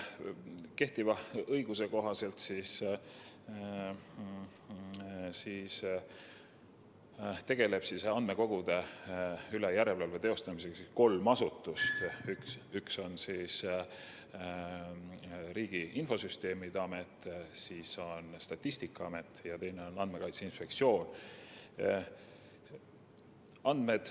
Kehtiva õiguse kohaselt tegelevad andmekogude järelevalvega kolm asutust: Riigi Infosüsteemi Amet, Statistikaamet ja Andmekaitse Inspektsioon.